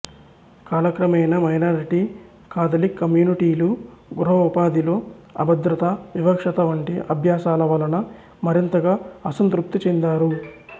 కాలక్రమేణా minority Catholic కమ్యూనిటీలు గృహ ఉపాధిలో అభద్రత వివక్షత వంటి అభ్యాసాల వలన మరింతగా అసంతృప్తి చెందారు